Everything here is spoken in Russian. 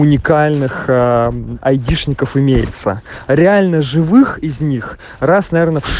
уникальных айдишников имеется реально живых из них раз наверно в шес